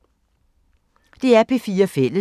DR P4 Fælles